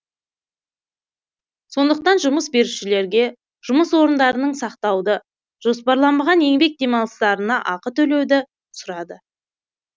сондықтан жұмыс берушілерге жұмыс орындарының сақтауды жоспарланбаған еңбек демалыстарына ақы төлеуді сұрады